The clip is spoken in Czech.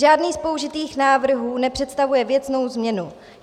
Žádný z použitých návrhů nepředstavuje věcnou změnu.